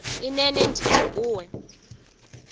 inene ndithi kuwe